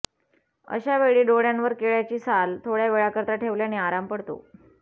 अश्या वेळी डोळ्यांवर केळ्याची साल थोड्या वेळाकरिता ठेवल्याने आराम पडतो